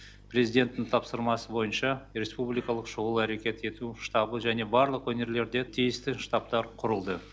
президенттің тапсырмасы бойынша республикалық шұғыл әрекет ету штабы және барлық өңірлерде тиісті штабтар құрылды